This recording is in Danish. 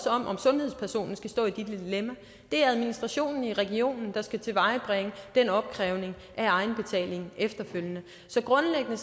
om om sundhedspersonen skal stå i det dilemma det er administrationen i regionen der skal tilvejebringe den opkrævning af egenbetaling efterfølgende så grundlæggende